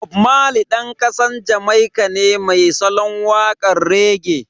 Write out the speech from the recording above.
Bob Marley Dan kasar Jamaika ne mai salon wakan rege.